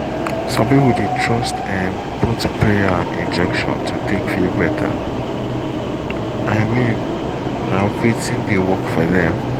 some people dey trust um both prayer and injection to take feel better — i mean na wetin dey work for dem